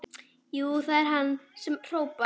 Jú, það er hann sem hrópar.